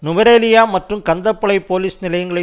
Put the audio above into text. நுவரெலியா மற்றும் கந்தப்பளை போலிஸ் நிலையங்களை